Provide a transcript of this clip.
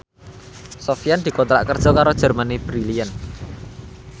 Sofyan dikontrak kerja karo Germany Brilliant